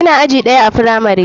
Ina aji ɗaya a firamari.